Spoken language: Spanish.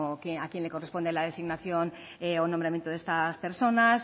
como a quién le corresponde la designación o nombramiento de estas personas